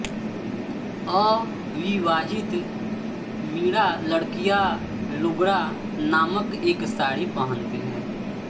अविवाहित मीणा लड़कियां लुगडा नामक एक साड़ी पहनती हैं